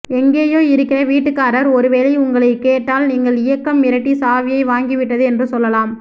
எங்கேயோ இருக்கிற வீட்டுக்காரர் ஒருவேளை உங்களை கேட்டால் நீங்கள் இயக்கம் மிரட்டி சாவியை வாங்கி விட்டது என்று சொல்லலாம்